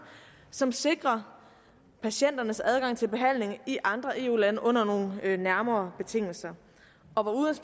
som sikrer patienternes adgang til behandling i andre eu lande under nogle nærmere betingelser og